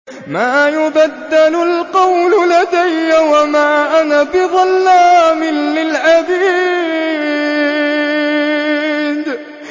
مَا يُبَدَّلُ الْقَوْلُ لَدَيَّ وَمَا أَنَا بِظَلَّامٍ لِّلْعَبِيدِ